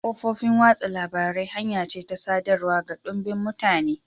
Kafofin watsa labarai hanya ce ta sadarwa ga dumbin mutane.